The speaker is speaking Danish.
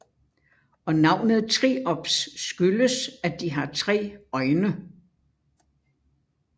Og navnet triops skyldes at de har 3 øjne